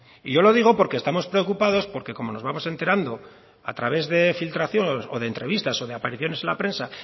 y yo lo digo porque estamos preocupados porque como nos vamos enterando a través de filtraciones o de entrevistas o de apariciones en la prensa